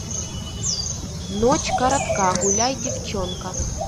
ночь коротка гуляй девчонка